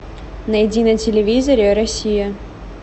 найди на телевизоре россия